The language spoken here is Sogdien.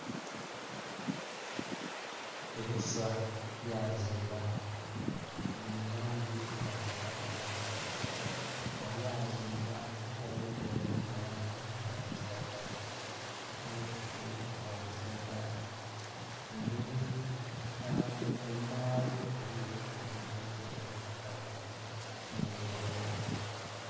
Ebiswa byazimba. Bili mu langi eya kitakataka, nga byazimba gh'omuti oguli mu langi eya kilagala nh'obusubi obwa kilagala. Embeli yabyo...enhuma ghabyo eliyo olugudho olubitayo nh'ebigogo